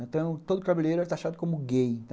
Então, todo cabeleireiro era taxado como gay.